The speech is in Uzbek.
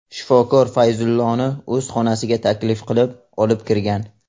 Shifokor Fayzulloni o‘z xonasiga taklif qilib, olib kirgan.